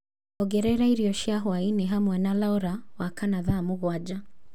ongerera irio cia hwaĩ-inĩ hamwe na Laura wa kana thaa mũgwanja